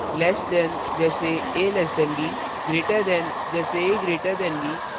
less than से कम: जैसे a b